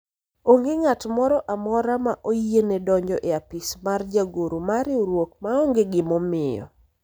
onge ng'at moro amora ma oyiene donjo e apis mar jagoro mar riwruok maonge gima omiyo